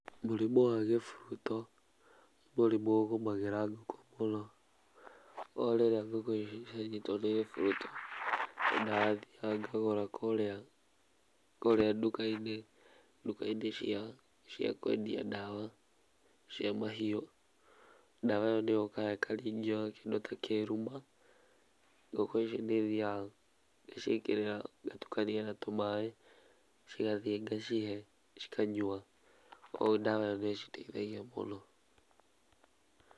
Mũrimũ wa kĩhuruto nĩ mũrimu ũgũmagĩra ngũkũ mũno kogũo rĩríĩ ngũkũ icio cia nyitwo nĩ kĩhuruto nĩ ndathiaga gagũra kũrĩa nduka-inĩ cia kwendia dawa cia mahiũ ,dawa ĩyo nĩ yũkaga ĩkaringio na kĩndũ ta kĩruma, ngũkũ icio nĩthiaga ngaciĩkĩrĩra ngatukania na tũmaĩ cigathiĩ ngacihe cikanywa ũũ dawa ĩyo nĩ citeithagia mũno.